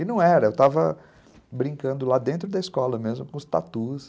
E não era, eu estava brincando lá dentro da escola mesmo com os tatus.